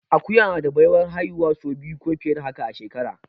Akuya na da baiwar haihuwa sau biyu ko fiye da haka a shekara